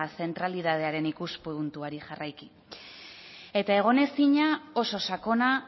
zentralitatearen ikuspuntuari jarraiki eta egonezina oso sakona